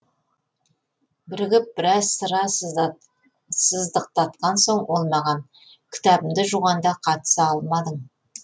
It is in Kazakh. бірігіп біраз сыра сыздықтатқан соң ол маған кітабымды жуғанда қатыса алмадың